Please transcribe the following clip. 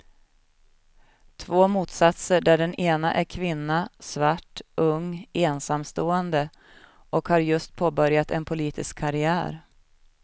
Två motsatser där den ena är kvinna, svart, ung, ensamstående och har just påbörjat en politisk karriär.